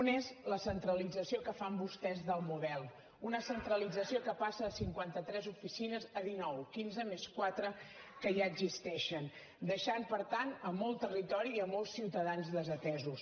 un és la centralització que fan vostès del model una centralització que passa de cinquanta tres oficines a dinou quinze més quatre que ja existeixen deixant per tant molt territori i molts ciutadans desatesos